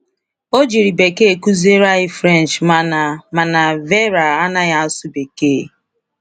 O jiri Bekee kụziere anyị French mana mana Veera anaghị asụ Bekee.